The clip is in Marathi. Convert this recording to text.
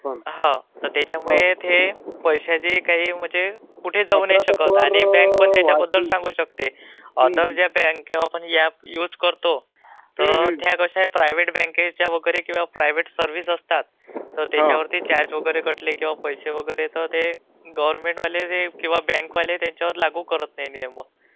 हो तर त्याच्यामुळे ते पैश्यांच काही म्हणजे कुठे जाऊ नाही शकतं...Voice overlapping आणि बॅंकपण त्याच्याबद्द्लल सांगू शकते. आदर ज्या बॅका ह्या युज करतो तर त्या कश्या आहेत प्रायव्हेट बॅंका आहेत..बॅंकेच्या सर्व्हीस असतात...तर त्याच्यावरती कसं कॅश वगैरे कटले किंवा पैसे वगैरे तर ते गव्हर्न्मेंटवाले किंवा बॅंकवाले त्याच्यावर लागू करत नाहीत नियम मग